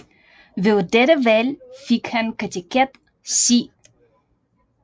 Ved dette valg fik han kateket C